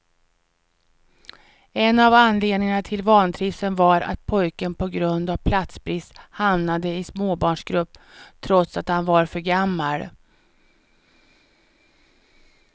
En av anledningarna till vantrivseln var att pojken på grund av platsbrist hamnade i småbarnsgrupp trots att han var för gammal.